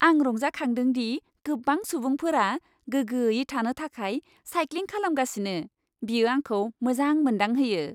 आं रंजाखांदों दि गोबां सुबुंफोरा गोगोयै थानो थाखाय साइक्लिं खालामगासिनो। बियो आंखौ मोजां मोनदांहोयो।